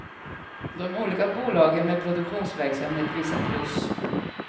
De olika bolagen med produktionsverksamhet visar plus.